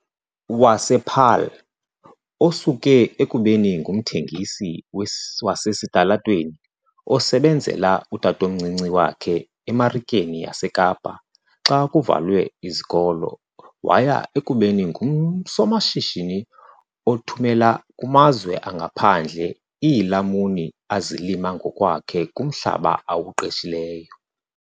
wasePaarl, osuke ekubeni ngumthengisi wasesitalatweni osebenzela utatomncinci wakhe eMarikeni yaseKapa xa kuvalwe izikolo waya ekubeni ngusomashishini othumela kumazwe angaphandle iilamuni azilima ngokwakhe kumhlaba awuqeshileyo.